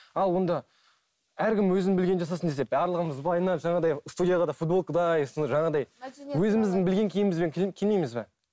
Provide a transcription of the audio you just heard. ал онда әркім өзінің білгенін жасасын десе барлығымыз былайынан жаңағыдай студияға да футболкадай осы жаңағыдай өзіміздің білген киімімізбен келмейміз бе